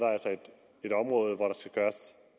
et område